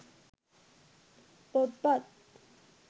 පොත්පත්